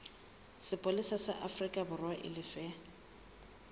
sepolesa sa aforikaborwa e lefe